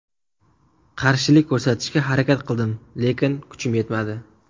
Qarshilik ko‘rsatishga harakat qildim, lekin kuchim yetmadi.